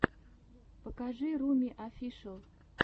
покажи руми офишэл